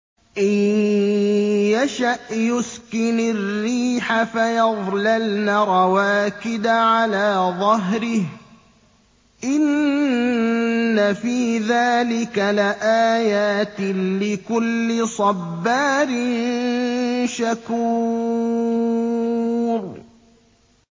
إِن يَشَأْ يُسْكِنِ الرِّيحَ فَيَظْلَلْنَ رَوَاكِدَ عَلَىٰ ظَهْرِهِ ۚ إِنَّ فِي ذَٰلِكَ لَآيَاتٍ لِّكُلِّ صَبَّارٍ شَكُورٍ